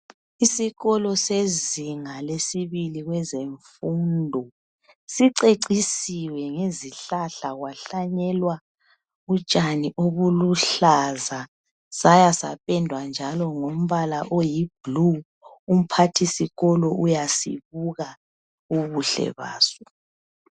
Isikolo sezinga lesibili kwezemfundo sicecisiwe ngezihlahla kwahlanyelwa utshani obuluhlaza sayasapendwa njalo ngombala oyi blue. Umphathisikolo uyasibuka ubuhle baso.